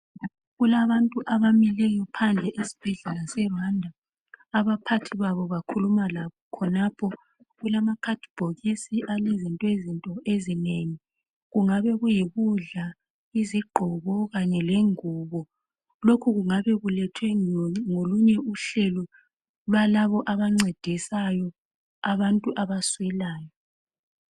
Kulabantu abamileyo phandle esibhedlela seRwanda. Abaphathi babo bakhuluma labo khonapho. Kulamabhokisi alezinto ezinenginengi okungaba yikudla, izigqoko lengubo. Lokhu kungaba kulethwe luhlelo lwalabo abancedisa abaswelayo.